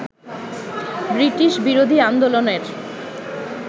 ব্রিটিশবিরোধী আন্দোলনের